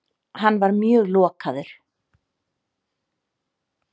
Hann var mjög lokaður.